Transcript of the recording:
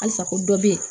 Halisa ko dɔ be yen